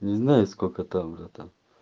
не знаю сколько там братан